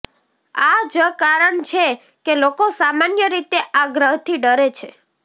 આ જ કારણ છે કે લોકો સામાન્ય રીતે આ ગ્રહથી ડરે છે